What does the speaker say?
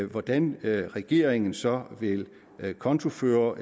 hvordan regeringen så vil kontoføre